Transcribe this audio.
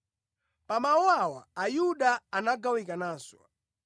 Pa mawu awa Ayuda anagawikananso.